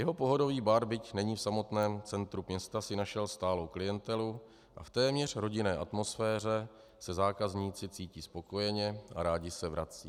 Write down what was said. Jeho pohodový bar, byť není v samotném centru města, si našel stálou klientelu a v téměř rodinné atmosféře se zákazníci cítí spokojeně a rádi se vracejí.